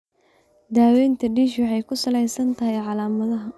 Daawaynta DISH waxay ku salaysan tahay calaamadaha.